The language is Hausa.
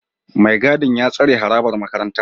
Mai gadin ya tsare harabar makarantar